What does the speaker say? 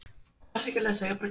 Gunnar og Rut.